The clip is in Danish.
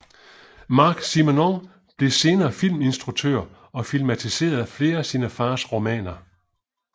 Marc Simenon blev senere filminstruktør og filmatiserede flere af sine fars romaner